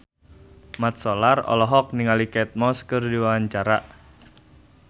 Mat Solar olohok ningali Kate Moss keur diwawancara